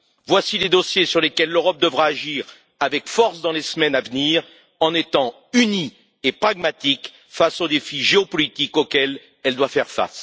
Voici les dossiers sur lesquels l'Europe devra agir avec force dans les semaines à venir en étant unie et pragmatique face aux défis géopolitiques qu'elle doit relever.